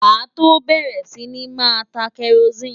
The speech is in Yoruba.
Màá tó bẹ̀rẹ̀ sí ní máa ta kẹrosíìnì.